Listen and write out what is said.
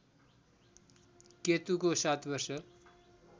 केतुको ७ वर्ष